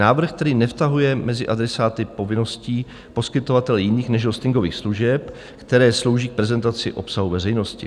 Návrh, který nevtahuje mezi adresáty povinností poskytovatele jiných než hostingových služeb, které slouží k prezentaci obsahu veřejnosti.